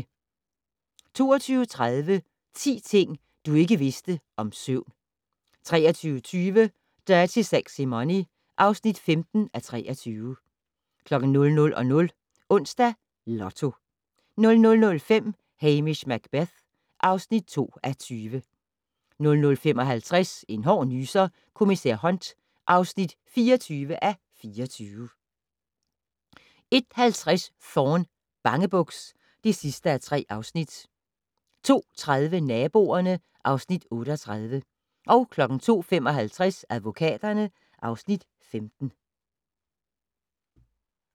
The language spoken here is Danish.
22:30: 10 ting du ikke vidste om søvn 23:20: Dirty Sexy Money (15:23) 00:00: Onsdags Lotto 00:05: Hamish Macbeth (2:20) 00:55: En hård nyser: Kommissær Hunt (24:24) 01:50: Thorne: Bangebuks (3:3) 02:30: Naboerne (Afs. 38) 02:55: Advokaterne (Afs. 15)